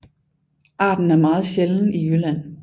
Arten er meget sjælden i Jylland